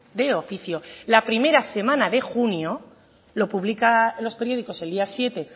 de oficio la primera semana de junio lo publica los periódicos el día siete